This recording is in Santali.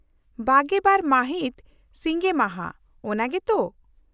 -᱒᱒ ᱢᱟᱹᱦᱤᱛ ᱥᱤᱸᱜᱮ ᱢᱟᱦᱟ, ᱚᱱᱟ ᱜᱮ ᱛᱚ ?